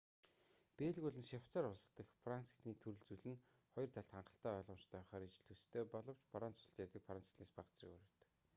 бельги болон швейцарь улс дахь франц хэлний төрөл зүйл нь хоёр талд хангалттай ойлгомжтой байхаар ижил төстэй боловч франц улсад ярьдаг франц хэлнээс бага зэрэг өөр байдаг